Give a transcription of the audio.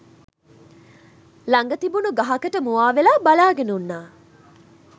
ළඟ තිබුණ ගහකට මුවාවෙලා බලාගෙන උන්නා.